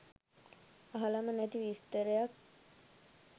අහලම නැති විස්තරයක්